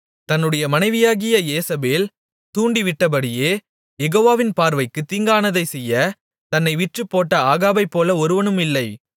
தன்னுடைய மனைவியாகிய யேசபேல் தூண்டிவிட்டபடியே யெகோவாவின் பார்வைக்குத் தீங்கானதைச் செய்ய தன்னை விற்றுப்போட்ட ஆகாபைப்போல ஒருவனுமில்லை